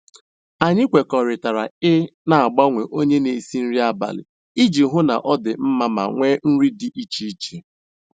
Anyị kwekọrịtara i n'agbanwe onye n'esi nri abalị iji hụ na ọ dị mma ma nwee nri dị iche iche